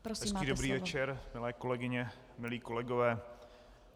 Hezký dobrý večer, milé kolegyně, milý kolegové.